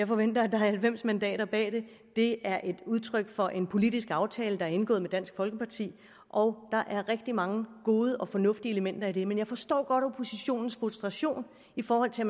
forventer at der er halvfems mandater bag det det er et udtryk for en politisk aftale der er indgået med dansk folkeparti og der er rigtig mange gode og fornuftige elementer i det men jeg forstår godt oppositionens frustration i forhold til